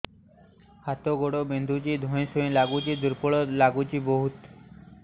ହାତ ଗୋଡ ବିନ୍ଧୁଛି ଧଇଁସଇଁ ଲାଗୁଚି ଦୁର୍ବଳ ଲାଗୁଚି ବହୁତ